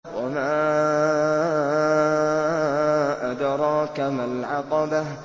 وَمَا أَدْرَاكَ مَا الْعَقَبَةُ